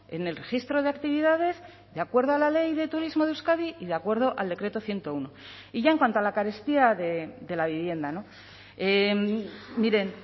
en el registro de actividades de acuerdo a la ley de turismo de euskadi y de acuerdo al decreto ciento uno y ya en cuanto a la carestía de la vivienda miren